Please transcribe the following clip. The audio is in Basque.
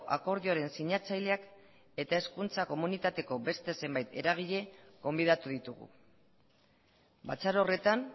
akordioaren sinatzaileak eta hezkuntza komunitateko beste zenbait eragile gonbidatu ditugu batzar horretan